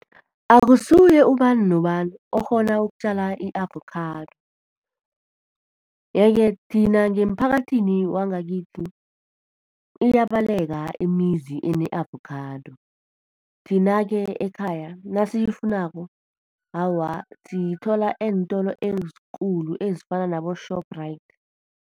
Akusuye ubani nobani okghona ukutjala i-avokhado yeke thina ngeemphakathini wangakithi, iyabaleka imizi ene-avokhado. Thina-ke ekhaya nasiyifunako awa, siyithola eentolo ezikulu ezifana nabo-Shoprite.